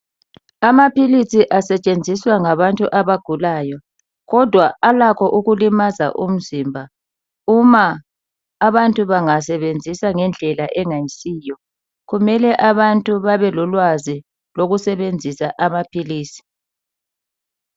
Amaphilisi asetshenziswa ngabantu abagulayo, kodwa alakho ukulimaza umzimba uma abantu bangasebenzisa ngendlela engayisiyo, kumele abantu babe lolwazi lokusebenzisa amaphilisi.